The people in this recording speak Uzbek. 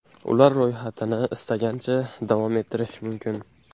Ular ro‘yxatini istagancha davom ettirish mumkin.